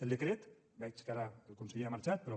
el decret veig que ara el conseller ha marxat però